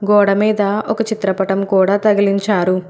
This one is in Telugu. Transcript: గోడమీద ఒక చిత్రపటం కూడా తగిలించారు.